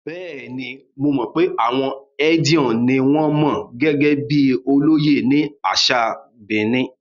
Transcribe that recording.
Bẹ́ẹ̀ni, mo mọ̀ pé àwọn Edion ni wọn mọ̀ gẹ́gẹ́ bíi olóyè ní àṣà Benin.